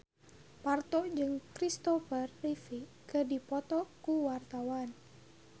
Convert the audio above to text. Parto jeung Christopher Reeve keur dipoto ku wartawan